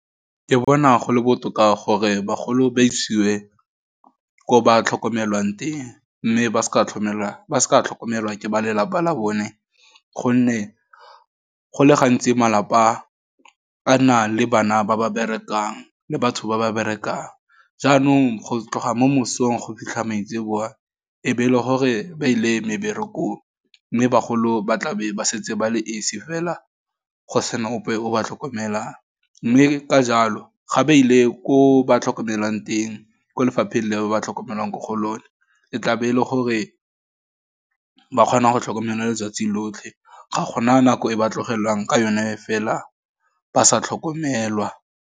Ke bona go le botoka gore bagolo ba isiwe ko ba tlhokomelwang teng, mme ba seka tlhomelwa ke ba lelapa la bone, gonne go le gantsi malapa a na le bana ba ba berekang, le batho ba ba berekang, jaanong go tloga mo mosong go fitlha maitseboa, e be e le gore ba ile meberekong, mme bagolo ba tla be ba setse ba le esi fela, go sena ope o ba tlhokomelang, mme ka jalo, ga ba ile ko ba tlhokomelwang teng, ko lefapheng le ba ba tlhokomelwang mo go lone, e tla be e le gore ba kgona go tlhokomelwa letsatsi lotlhe, ga gona nako e ba tlogelwang ke yone fela ba sa tlhokomelwa.